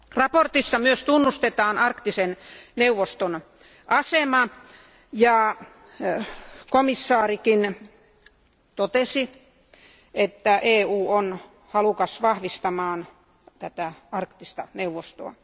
Mietinnössä myös tunnustetaan arktisen neuvoston asema ja komissaari Fülekin totesi, että EU on halukas vahvistamaan arktista neuvostoa.